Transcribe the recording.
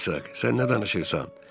Herk, sən nə danışırsan?